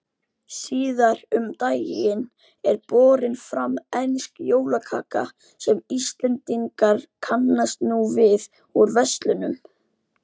Síðar um daginn er borin fram ensk jólakaka sem Íslendingar kannast nú við úr verslunum.